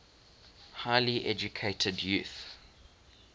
highly educated youth